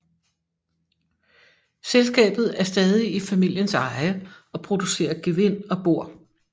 Selskabet er stadig i familiens eje og producerer gevind og bor